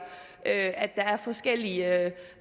at der er forskellige